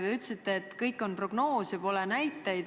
Te ütlesite, et tegu on prognoosiga ja näiteid pole.